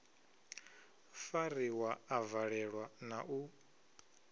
fariwa a valelwa na u